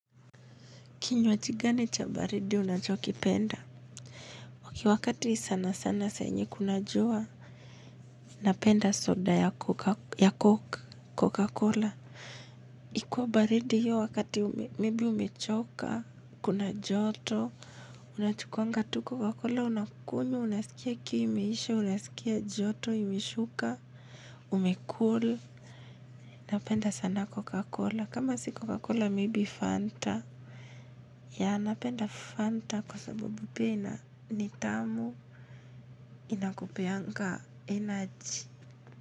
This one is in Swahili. Kinywachi gani cha baridi unachokipenda ok wakati sana sana saa yenye kuna jua napenda soda ya coca cola ikuwa baridi hiyo wakati maybe umechoka kuna joto unachukwanga tu coca cola unakunywa unasikia kiu imeisha unasikia joto imeshuka ume cool napenda sana coca cola kama si coca cola maybe fanta. Ya napenda fanta kwa sababu pia ina ni tamu inakupeyanga energy.